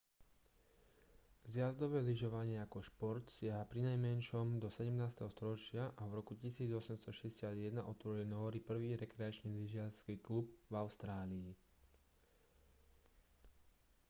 zjazdové lyžovanie ako šport siaha prinajmenšom do 17. storočia a v roku 1861 otvorili nóri prvý rekreačný lyžiarsky klub v austrálii